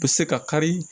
U bɛ se ka kari